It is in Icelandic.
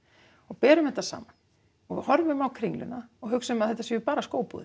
berum þetta saman og horfum á Kringluna og hugsum að þetta séu bara